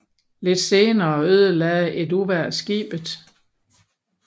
Lidt senere ødelagde et uvejr skibet